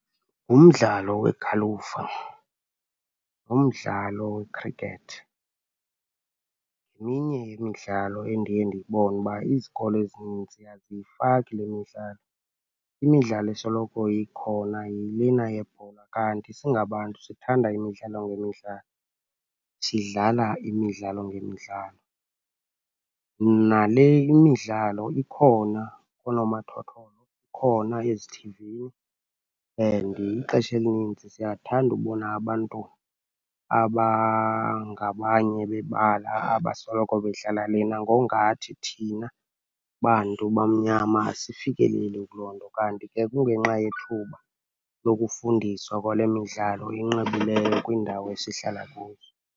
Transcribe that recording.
Umdlalo wegalufa, umdlalo wekhrikethi, yeminye yemidlalo endiye ndibone uba izikolo ezininzi aziyifaki le midlalo. Imidlalo esoloko ikhona yilena yebhola. Kanti singabantu sithanda imidlalo ngemidlalo, sidlala imidlalo ngemidlalo. Nale imidlalo ikhona koonomathotholo, ikhona ezithivini and ixesha elininzi siyathanda ubona abantu abangabanye bebala abasoloko bedlala lena ngokungathi thina bantu bamnyama asifikeleli kuloo nto. Kanti ke kungenxa yethuba lokufundiswa kwale midlalo enqabileyo kwiindawo esihlala kuzo.